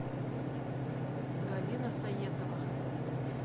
галина саетова